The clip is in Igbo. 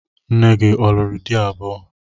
Nne gị a lụrụ di abụọ?